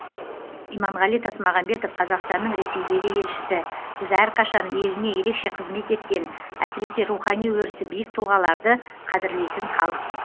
иманғали тасмағамбетов қазақстанның ресейдегі елшісі біз әрқашан еліне ерекше қызмет еткен әсіресе рухани өрісі биік тұлғаларды қадірлейтін халықпыз